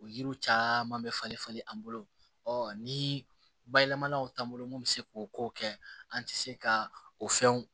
O yiriw caman bɛ falen falen an bolo ni bayɛlɛmaniw t'an bolo mun be se k'o kow kɛ an ti se ka o fɛnw